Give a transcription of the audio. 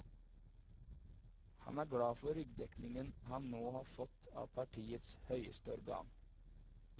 Han er glad for ryggdekningen han nå har fått av partiets høyeste organ.